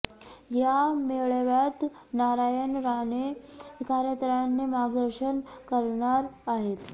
या मेळाव्यात नारायण राणे कार्यकर्त्यांना मार्गदर्शन करणार आहेत